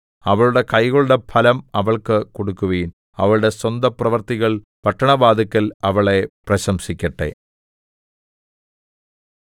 അവളുടെ കൈകളുടെ ഫലം അവൾക്ക് കൊടുക്കുവിൻ അവളുടെ സ്വന്തപ്രവൃത്തികൾ പട്ടണവാതില്ക്കൽ അവളെ പ്രശംസിക്കട്ടെ